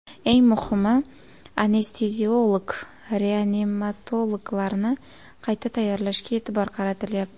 Eng muhimi, anesteziolog-reanimatologlarni qayta tayyorlashga e’tibor qaratilyapti.